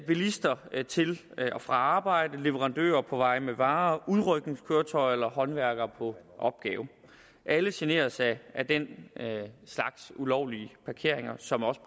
bilister til og fra arbejde leverandører på vej med varer udrykningskøretøjer eller håndværkere på opgave alle generes af den slags ulovlige parkeringer som også